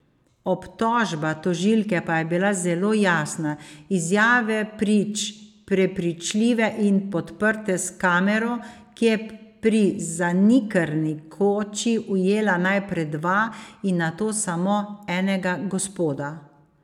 Obtožba tožilke pa je bila zelo jasna, izjave prič prepričljive in podprte s kamero, ki je pri zanikrni koči ujela najprej dva in nato samo enega gospoda.